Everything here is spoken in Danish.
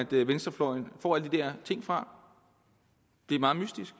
venstrefløjen får alle de der ting fra det er meget mystisk